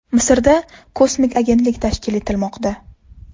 Misrda kosmik agentlik tashkil etilmoqda.